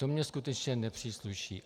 To mi skutečně nepřísluší.